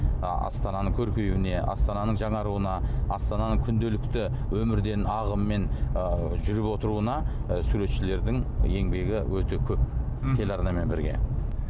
ы астананың көркеюіне астананың жаңаруына астананың күнделікті өмірден ағыммен ы жүріп отыруына ы суретшілердің еңбегі өте көп телеарнамен бірге